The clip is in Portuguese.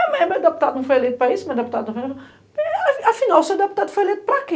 É, mas meu deputado não foi eleito para isso, meu deputado não foi eleito para...Afinal, seu deputado foi eleito para quê?